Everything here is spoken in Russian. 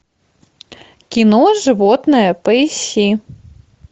кино животное поищи